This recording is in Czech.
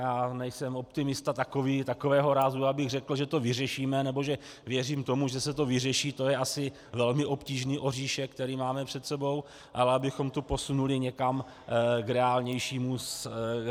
Já nejsem optimista takového rázu, abych řekl, že to vyřešíme, nebo že věřím tomu, že se to vyřeší, to je asi velmi obtížný oříšek, který máme před sebou, ale abychom to posunuli někam k reálnějšímu stavu.